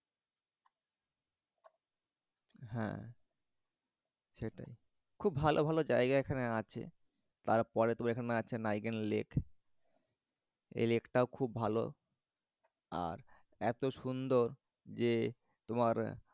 হ্যা। সেটাই। খুব ভালো ভালো জায়গা এখানে আছে। তারপরে তো এখানে আছে নাইগেন লেক। এই লেকটাও খুব ভালো। আর এত সুন্দর যে তোমার